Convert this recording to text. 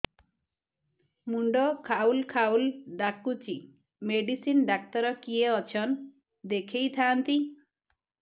ମୁଣ୍ଡ ଖାଉଲ୍ ଖାଉଲ୍ ଡାକୁଚି ମେଡିସିନ ଡାକ୍ତର କିଏ ଅଛନ୍ ଦେଖେଇ ଥାନ୍ତି